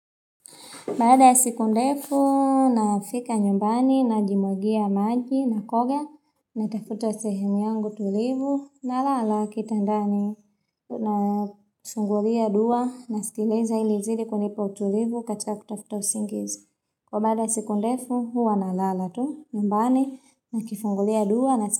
Baada ya siku ndefu nafika nyumbani najimwagia maji nakoga natafuta sehemu yangu tulivu nalala kitandani nasungulia dua nasikiliza ili izidi kunipa utulivu katika kutafuta usingizi. Kwa baada ya siku ndefu huwa nalala tu nyumbani nikifungulia dua na siku ndefu.